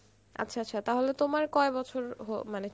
আচ্ছা আচ্ছা তাহলে তোমার কয় বছর হ মানে